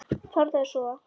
Farðu að sofa.